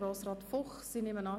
Grossrat Fuchs, ich nehme an,